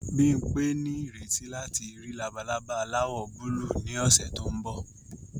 Bimpe ní ìrètí láti rí labalaba aláwọ̀ búlúù ní ọ̀sẹ̀ tó ń bọ̀